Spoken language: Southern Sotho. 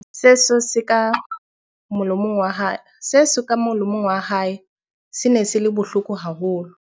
seso se ka molomong wa hae se ne se le bohloko haholo